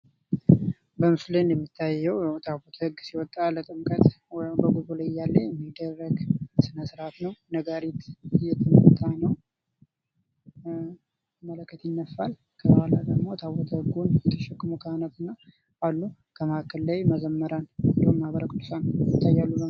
በምስሉ ላይ እንደሚታየዉ ያዉ ታቦተ ህግ ሲወጣ ለጥምቀት ወይም በጉዞ ላይ እያለ የሚደረግ ስነ-ስርዓት ነዉ። ነጋሪት እየተመታ ነዉ። መለከት ይነፋል። ከኋላ ደግሞ ታቦተ ህጉን የተሸከሙ ካህናት አሉ። ከመሀከል ላይ መዘምራን እንዲሁም ማህበረ ቅዱሳን ይታያሉ ማለት ነዉ።